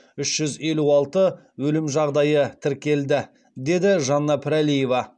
үш жүз елу алты өлім жағдайы тіркелді деді жанна пірәлиева